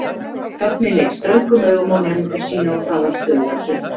Högni leit ströngum augum á nemendur sína og það varð dauðakyrrð.